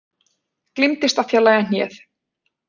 Gleymdist að fjarlægja hnéð